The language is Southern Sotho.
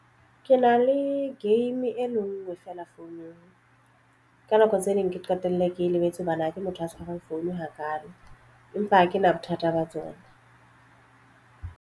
Ke na le game e le ngwe feela founung. Ka nako tse ding ke qetelle ke e lebetse hobane ha ke motho a tshwarang phone hakaalo, empa ha kena bothata ba tsona.